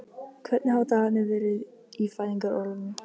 Hvernig hafa dagarnir verið í fæðingarorlofinu?